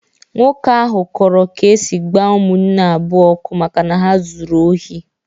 Nwoke ahụ kọrọ ka esi gbaa ụmụnne abụọ ọkụ maka na ha zụrụ ohi.